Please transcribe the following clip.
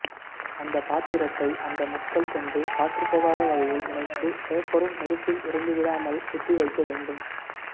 அந்தப்பாத்திரத்தை அந்த முட்கள் கொண்டு காற்றுப்புகாத வகையில் இணைத்து பேப்பரும் நெருப்பில் எரிந்துவிடாமல் குத்திவைக்க வேண்டும்